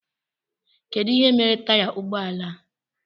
Kedụ ihe mere taya ụgbọala a?